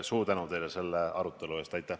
Suur tänu teile selle arutelu eest!